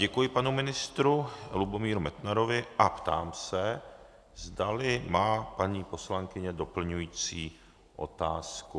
Děkuji panu ministru Lubomíru Metnarovi a ptám se, zdali má paní poslankyně doplňující otázku.